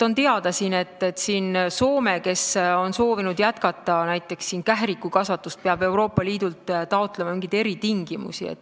On teada, et Soome, kes on soovinud jätkata näiteks kährikukasvatust, peab Euroopa Liidult taotlema eritingimusi.